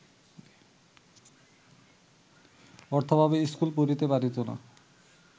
অর্থাভাবে স্কুলে পড়িতে পারিত না